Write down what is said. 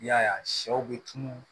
I y'a ye a sɛw bɛ tunun